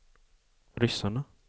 ryssarna